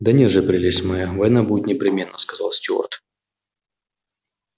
да нет же прелесть моя война будет непременно сказал стюарт